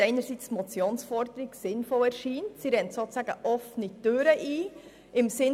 Auf der einen Seite erscheint uns die Forderung der Motion sinnvoll, sie rennt sozusagen offene Türen ein.